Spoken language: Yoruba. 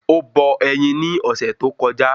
Ó bọ ẹyin ni ọ̀sẹ̀ tó kọjá